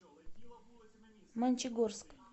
мончегорск